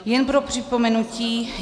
Jen pro připomenutí.